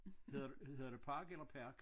Hedder hedder det park eller park?